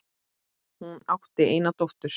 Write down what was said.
Hún átti eina dóttur.